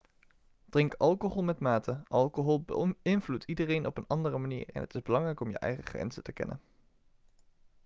drink alcohol met mate alcohol beïnvloedt iedereen op een andere manier en het is belangrijk om je eigen grenzen te kennen